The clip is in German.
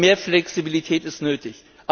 Und mehr Flexibilität ist nötig.